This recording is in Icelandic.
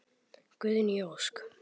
Guðný Ósk.